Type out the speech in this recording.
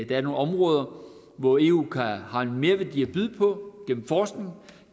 der er nogle områder hvor eu har en merværdi at byde på det gennem forskning